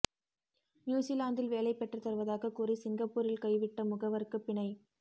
நியுஸிலாந்தில் வேலை பெற்று தருவதாக கூறி சிங்கப்பூரில் கைவிட்ட முகவருக்கு பிணை